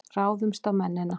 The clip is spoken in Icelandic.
Ráðumst á mennina!